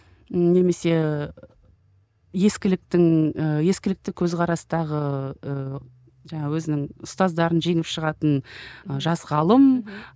м немесе ескіліктің ііі ескілікті көзқарастағы ы жаңа өзінің ұстаздарын жеңіп шығатын ы жас ғалым мхм